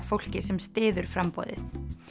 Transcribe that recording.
fólki sem styður framboðið